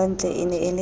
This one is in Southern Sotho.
kantle e ne e le